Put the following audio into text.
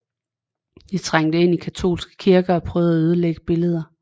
De trængte ind i katolske kirker og prøvede at ødelægge billeder